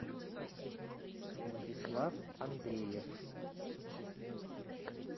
владислав андреев